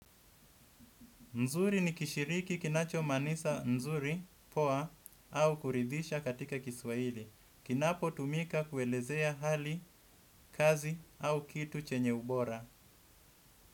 Nzuri ni kishiriki kinacho manisha nzuri, poa, au kuridhisha katika kiswaili. Kinapo tumika kuelezea hali, kazi au kitu chenye ubora.